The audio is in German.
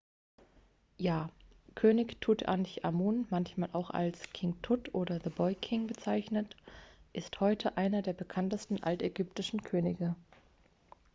ja könig tutanchamun manchmal auch als king tut oder the boy king bezeichnet ist heute einer der bekanntesten altägyptischen könige